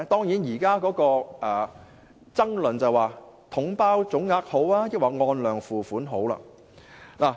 現時的爭論是，究竟"統包總額"較好，抑或"按量付款"較好？